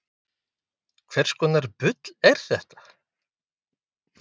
Á Íslandi eru basísk flæði- og sprengigos algengust.